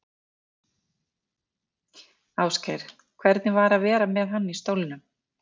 Ásgeir: Hvernig var að vera með hann í stólnum?